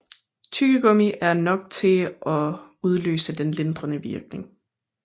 Tyggegummi er nok til at udløse den lindrende virkning